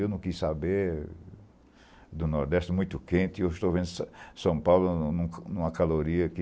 Eu não quis saber, do Nordeste muito quente, e hoje estou vendo São São Paulo em uma em uma caloria que